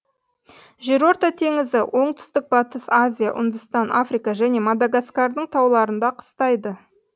жерорта теңізі оңтүстік батыс азия үндістан африка және мадагаскардың тауларында қыстайды